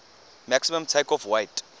maximum takeoff weight